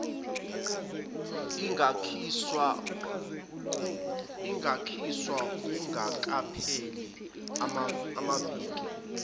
ingakhishwa kungakapheli amaviki